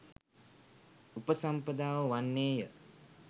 උපසම්පදාව වන්නේ ය.